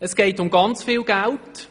Es geht um sehr viel Geld.